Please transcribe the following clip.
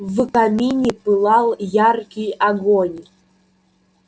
в камине пылал яркий огонь